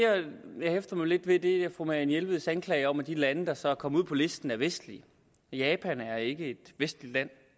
jeg hæfter mig lidt ved er fru marianne jelveds anklager om at de lande der så er kommet ud på listen er vestlige japan er ikke et vestligt land